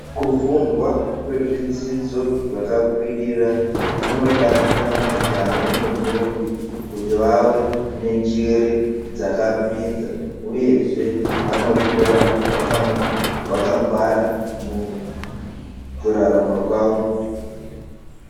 Kufunda kwezvidzidzo zvskakwirira. kunobatsira majaya nendombi, kuti vave nenjere dzakapinza, uyezve vanokura vaka vakangwara mukurarama kwavo.